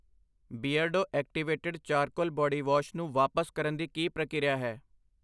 ਬਿਰਡੋ activated charcoal body wash ਨੂੰ ਵਾਪਸ ਕਰਨ ਦੀ ਕੀ ਪ੍ਰਕਿਰਿਆ ਹੈ?